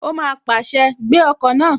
Ó má pàṣẹ, "Gbé ọkọ̀ náà!"